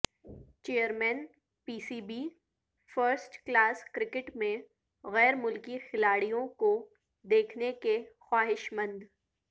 chairman P C B first class cricket میں غیرملکی کھلاڑیوں کو دیکھنے کے خواہشمند